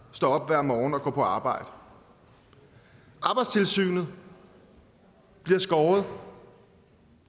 står op hver morgen og går på arbejde arbejdstilsynet bliver skåret